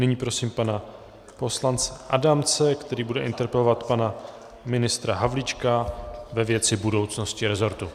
Nyní prosím pana poslance Adamce, který bude interpelovat pana ministra Havlíčka ve věci budoucnosti resortu.